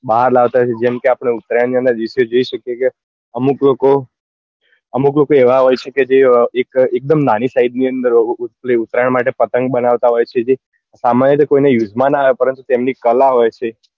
બાર લાવતા હોય છે જેમ કે આપડે ઉતરાયણ નાં દિવસે જોઈ શકીએ કે અમુક લોકો અમુક લોકો એવા હોય છે કે જે એક અ એક દમ નાની size માં પતંગ પેલી ઉતરાયણ માટે પતંગ બનાવતા હોય છે જે સામાન્ય રીતે કોઈ use માં નાં આવે પરંતુ તેમની કળા હોય છે